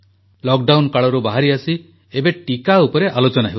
lockdown କାଳରୁ ବାହାରିଆସି ଏବେ ଟିକା ଉପରେ ଆଲୋଚନା ହେଉଛି